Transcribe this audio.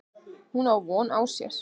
Hún á von á sér.